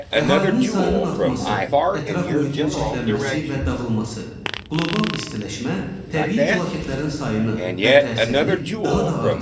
Əhalinin sayının artması, ətraf mühitin çirklənməsi və dağılması, qlobal istiləşmə, təbii fəlakətlərin sayını və təsirini daha da artırır.